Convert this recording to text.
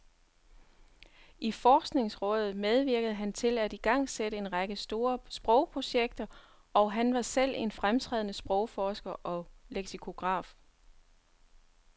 I forskningsrådet medvirkede han til at igangsætte en række store sprogprojekter, og han var selv en fremtrædende sprogforsker og leksikograf.